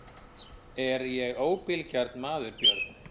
Er ég óbilgjarn maður Björn?